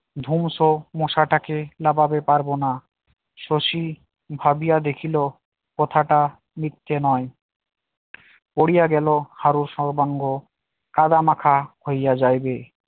ধুমশো মশাটাকে নামাতে পারব না শশী ভাবিয়া দেখিল কথাটা মিথ্যে নয় পড়িয়া গেল হারু সর্বাঙ্গ কাদামাখা হইয়া যাইবে